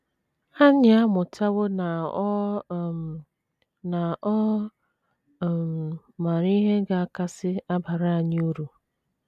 Anyị amụtawo na ọ um na ọ um maara ihe ga - akasị abara anyị uru.